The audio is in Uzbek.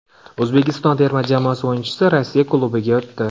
O‘zbekiston terma jamoasi o‘yinchisi Rossiya klubiga o‘tdi .